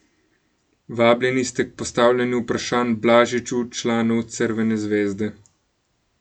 Vabljeni ste k postavljanju vprašanj Blažiču, članu Crvene zvezde.